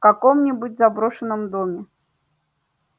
в каком-нибудь заброшенном доме